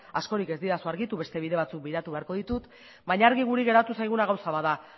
askorik ez didazu argitu beste bide batzuk begiratu beharko ditut baina argi guri geratu zaiguna gauza bat da